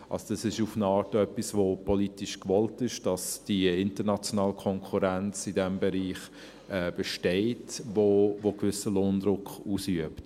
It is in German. Es ist auf eine Art etwas, das politisch gewollt ist, dass die internationale Konkurrenz in diesem Bereich besteht, die einen gewissen Lohndruck ausübt.